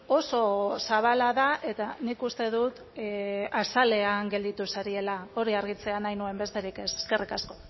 oso zabala da eta nik uste dut azalean gelditu zarela hori argitzea nahi nuen besterik ez eskerrik asko